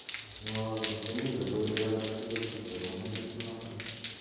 Mwowo ngot komii logoiwek alaktugul akobo metit nato